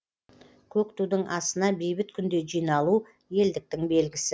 көк тудың астына бейбіт күнде жиналу елдіктің белгісі